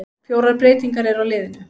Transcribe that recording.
Fjórar breytingar eru á liðinu.